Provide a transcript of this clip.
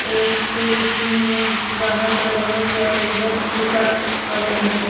एक एक स्कूल में गाढ़ा कलर ऑरेंज और इधर फीका ऑरेंज है।